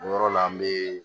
O yɔrɔ la an bee